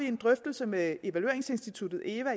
en drøftelse med evalueringsinstituttet eva